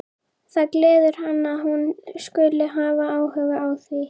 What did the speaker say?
Það gleður hann að hún skuli hafa áhuga á því.